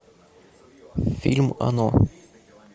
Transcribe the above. фильм оно